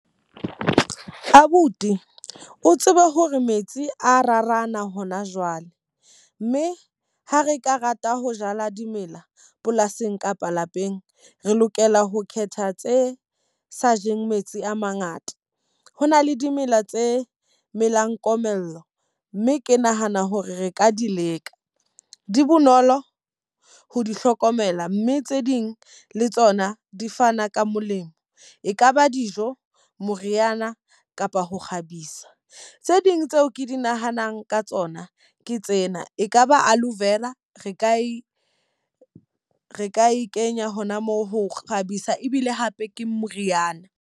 Abuti, o tsebe hore metsi a rarana hona jwale. Mme ha re ka rata ho jala dimela polasing kapa lapeng, re lokela ho khetha tse sa jeng metsi a mangata. Ho na le dimela tse melang komello, mme ke nahana hore re ka di leka. Di bonolo ho di hlokomela, mme tse ding le tsona di fana ka molemo. E kaba dijo, moriana kapa ho kgabisa. Tsee ding tseo ke di nahanang ka tsona ke tsena, e kaba aloevera, re ka e re ka e kenya hona moo ho kgabisa ebile hape ke moriana.